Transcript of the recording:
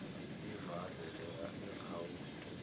ivalwe leya irawundwe